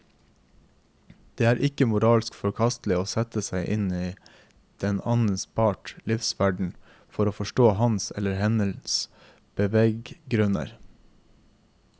Det er ikke moralsk forkastelig å sette seg inn i den annen parts livsverden for å forstå hans eller hennes beveggrunner.